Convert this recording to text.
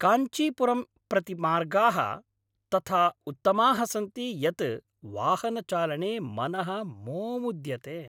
काञ्चीपुरम् प्रति मार्गाः तथा उत्तमाः सन्ति यत् वाहनचालने मनः मोमुद्यते।